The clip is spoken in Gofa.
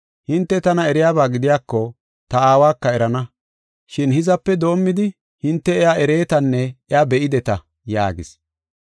Hinte tana eriyaba gidiyako, ta Aawaka erana. Shin hizape doomidi hinte iya ereetanne iya be7ideta” yaagis.